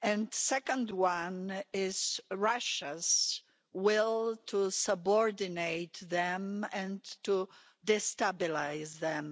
The second one is Russia's will to subordinate them and to destabilise them.